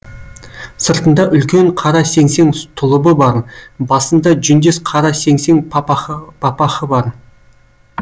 сыртында үлкен қара сеңсең тұлыбы бар басында жүндес қара сеңсең папахы бар